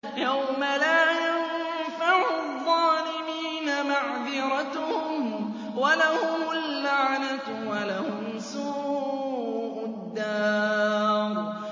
يَوْمَ لَا يَنفَعُ الظَّالِمِينَ مَعْذِرَتُهُمْ ۖ وَلَهُمُ اللَّعْنَةُ وَلَهُمْ سُوءُ الدَّارِ